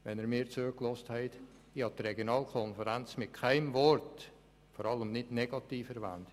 Falls Sie mir zugehört haben, ich habe die Regionalkonferenz mit keinem Wort, vor allem nicht negativ, erwähnt.